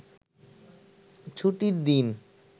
ছুটির দিন